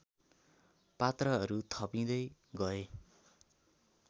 पात्रहरू थपिँदै गए